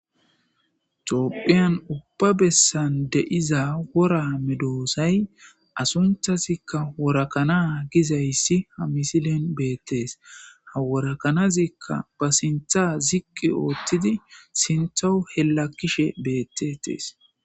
Tophiyan ubba bessan de7iza wora medoosay asunthazikka worakana gizayssi ha misilen beettees haworakanazikka ba sintha ziqqi ooththidi sintha helakkishe beettetees